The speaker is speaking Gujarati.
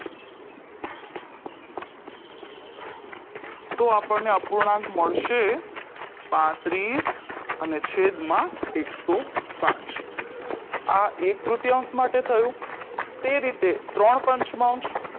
તો આપણને અપૂર્ણાંક મળશે પાત્રીસ અને છેદ માં એક સો પાંચ આ એક તૃતીયાંશ માટે થયું તે રીતે ત્રણપંચમાંશ